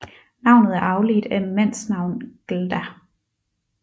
Navnet er afledt af mandsnavn glda